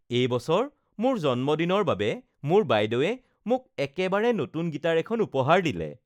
এই বছৰ মোৰ জন্মদিনৰ বাবে মোৰ বাইদেউৱে মোক একেবাৰে নতুন গীটাৰ এখন উপহাৰ দিলে